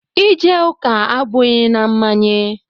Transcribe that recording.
Ije ụka abụghị na mmanye.